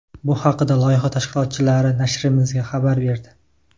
Bu haqda loyiha tashkilotchilari nashrimizga xabar berdi.